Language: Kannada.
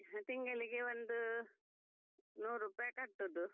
ತಿಂಗಳಿಗೆ ಒಂದು ನೂರು ರೂಪಾಯಿ ಕಟ್ಟುದು.